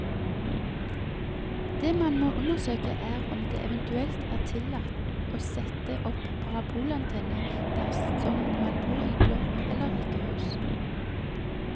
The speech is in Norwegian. Det man må undersøke, er om det eventuelt er tillatt å sette opp parabolantenne dersom man bor i blokk eller rekkehus.